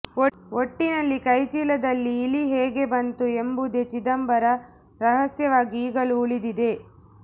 ಒಟ್ಟಿನಲ್ಲಿ ಕೈಚೀಲದಲ್ಲಿ ಇಲಿ ಹೇಗೆ ಬಂತು ಎಂಬುದೇ ಚಿದಂಬರ ರಹಸ್ಯವಾಗಿ ಈಗಲೂ ಉಳಿದಿದೆ